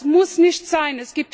Das muss nicht sein!